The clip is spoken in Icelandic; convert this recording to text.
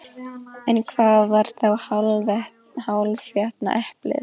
En hvar var þá hálfétna eplið?